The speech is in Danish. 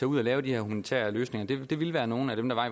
ud og lave de her humanitære løsninger ville være nogle af dem der